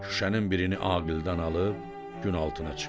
Şüşənin birini Aqildən alıb gün altına çıxdı.